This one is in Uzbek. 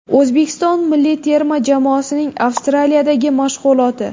O‘zbekiston milliy terma jamoasining Avstraliyadagi mashg‘uloti.